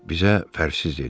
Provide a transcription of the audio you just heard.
Bizə fərqsiz dedi.